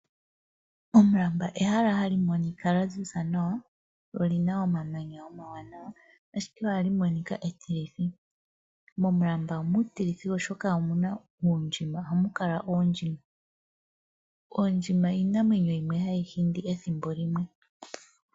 Omulamba ehala hali monika lya ziza nawa lyo olina omamanya omawawa ashike ohali monika etilitho. Momulamba omuutilithi oshoka ohamu kala oondjima. Ondjma iinamwenyo yomwe hayi hindi ethimbo limwe.